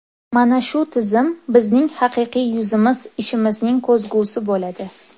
Mana shu tizim bizning haqiqiy yuzimiz ishimizning ko‘zgusi bo‘ladi.